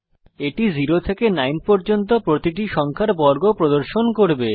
এটি 0 থেকে 9 পর্যন্ত প্রতিটি সংখ্যার বর্গ প্রদর্শন করবে